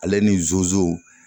Ale ni zozo